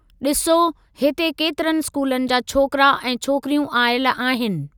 डि॒सो, हिते केतिरनि स्कूलनि जा छोकरा ऐं छोकिरियूं आयल आहिनि।